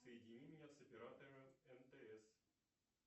соедини меня с оператором мтс